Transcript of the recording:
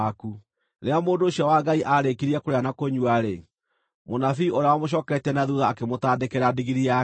Rĩrĩa mũndũ ũcio wa Ngai aarĩkirie kũrĩa na kũnyua-rĩ, mũnabii ũrĩa wamũcooketie na thuutha akĩmũtandĩkĩra ndigiri yake.